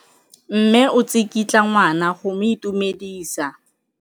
Mme o tsikitla ngwana go mo itumedisa.